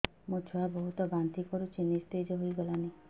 ମୋ ଛୁଆ ବହୁତ୍ ବାନ୍ତି କରୁଛି ନିସ୍ତେଜ ହେଇ ଗଲାନି